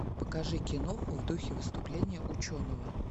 покажи киноху в духе выступления ученого